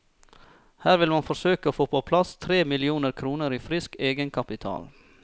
Her vil man forsøke å få på plass tre millioner kroner i frisk egenkapital.